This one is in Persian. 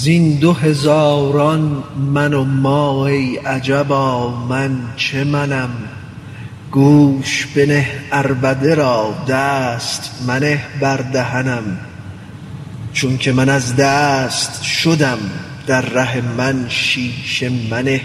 زین دو هزاران من و ما ای عجبا من چه منم گوش بنه عربده را دست منه بر دهنم چونک من از دست شدم در ره من شیشه منه